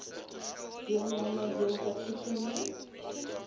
deelname heelwat toegeneem